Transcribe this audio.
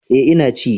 E, Ina ci.